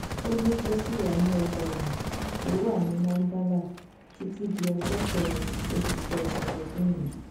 ó ní kó ṣì wà ní ọgbà ẹwọn tó wà ní mandala títí di ọjọ kẹrin oṣù kẹsànán ọdún yìí